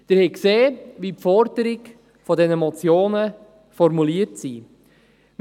Sie haben gesehen, wie die Forderungen der Motionen formuliert sind.